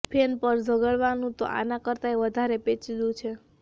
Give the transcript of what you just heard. fan પર ઝઘડવાનું તો આના કરતાંય વધારે પેચીદું છે